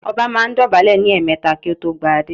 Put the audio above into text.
Ọba máa ń dọ̀bálẹ̀ ní ẹ̀ẹmẹ̀ta kí ó tó gba adé